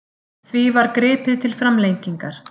Því var gripið til framlengingar.